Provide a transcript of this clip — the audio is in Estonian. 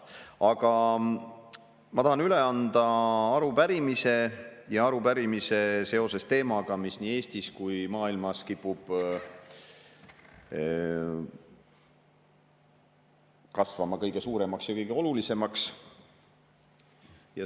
Aga ma tahan üle anda arupärimise seoses teemaga, mis nii Eestis kui ka maailmas kipub kasvama kõige suuremaks ja kõige olulisemaks.